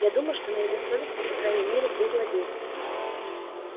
я думаю что на его совести по крайней мере три злодейства